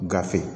Gafe